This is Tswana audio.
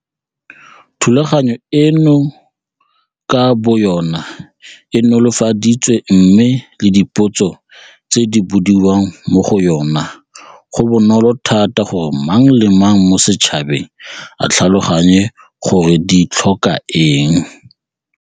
Thulaganyo eno ka boyona e nolofaditswe mme le dipotso tse di bodiwang mo go yona go bonolo thata gore mang le mang mo setšhabeng a tlhaloganye gore di tlhoka eng.